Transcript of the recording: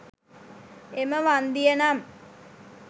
එම වන්දිය නම්,